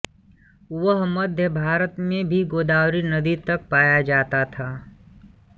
वह मध्य भारत में भी गोदावरी नदी तक पाया जाता था